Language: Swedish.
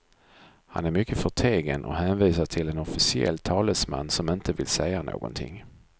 Han är mycket förtegen och hänvisar till en officiell talesman som inte vill säga någonting.